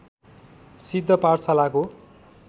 सिद्ध पाठशालाको